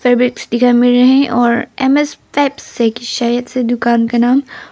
और M S Fabs शायद से दुकान का नाम।